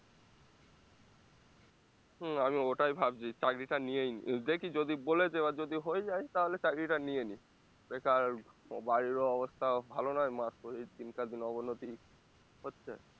হম আমি ওটাই ভাবছি চাকরিটা নিয়েই নিই দেখি যদি বলেছে এবার যদি হয়ে যায় তাহলে চাকরিটা নিয়ে নিই বেকার বাড়িরও ও অবস্থাও ভালো নয় মার শরীর দিনকারদিন অবনতি হচ্ছে